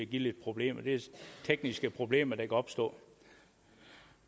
give lidt problemer det er tekniske problemer der kan opstå